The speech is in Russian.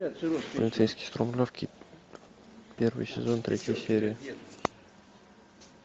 полицейский с рублевки первый сезон третья серия